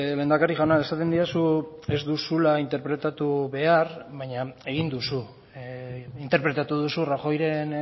lehendakari jauna esaten didazu ez duzula interpretatu behar baina egin duzu interpretatu duzu rajoyren